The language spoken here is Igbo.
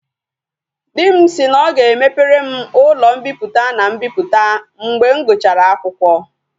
Di m si na o ga emepere m ulo mpiputa and mbiputa mgbe m guchara akwukwo